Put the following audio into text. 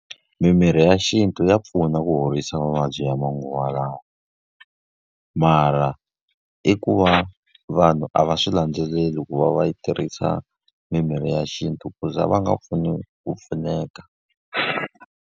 Mimirhi ya xintu ya pfuna ku horisa mavabyi ya manguva lawa. Mara i ku va vanhu a va swi landzeleli ku va va yi tirhisa mimirhi ya xintu, ku za va nga ku pfuneka.